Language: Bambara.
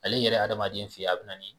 Ale yɛrɛ adamaden fe ye a bɛ na ni